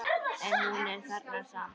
En hún er þarna samt.